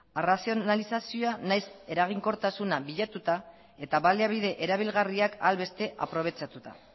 arrazionalizazioa nahiz eraginkortasuna bilatuta eta baliabide erabilgarriak ahal beste aprobetxatuta